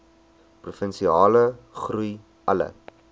provinsiale groei alle